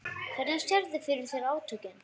Hvernig sérðu fyrir þér átökin?